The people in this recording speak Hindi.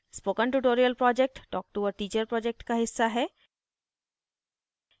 spoken tutorial project talk to a teacher project का हिस्सा है